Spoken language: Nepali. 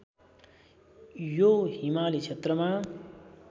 यो हिमाली क्षेत्रमा